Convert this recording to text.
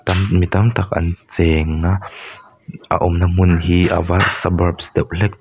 mi tam tak an cheng a a awmna hmun hi ava deuh hlek.